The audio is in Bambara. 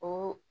O